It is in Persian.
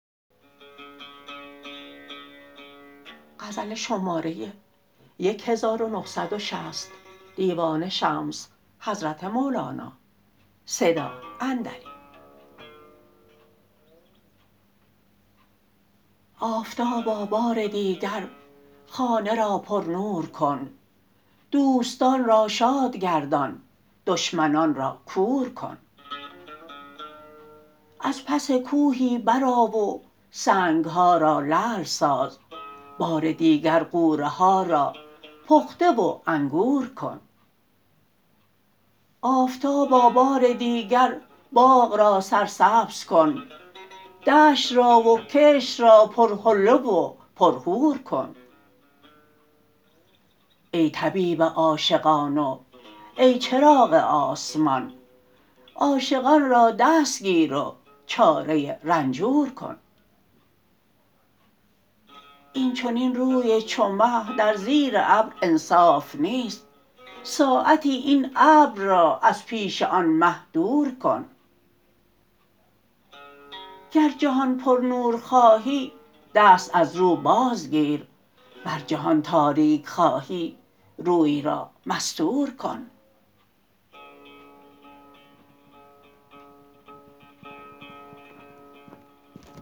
آفتابا بار دیگر خانه را پرنور کن دوستان را شاد گردان دشمنان را کور کن از پس کوهی برآ و سنگ ها را لعل ساز بار دیگر غوره ها را پخته و انگور کن آفتابا بار دیگر باغ را سرسبز کن دشت را و کشت را پرحله و پرحور کن ای طبیب عاشقان و ای چراغ آسمان عاشقان را دستگیر و چاره رنجور کن این چنین روی چو مه در زیر ابر انصاف نیست ساعتی این ابر را از پیش آن مه دور کن گر جهان پرنور خواهی دست از رو بازگیر ور جهان تاریک خواهی روی را مستور کن